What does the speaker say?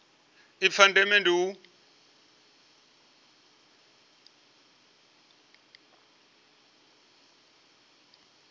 ipfi la ndeme ndi u